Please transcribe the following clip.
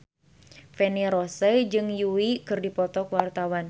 Feni Rose jeung Yui keur dipoto ku wartawan